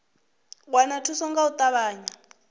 wana thuso nga u ṱavhanya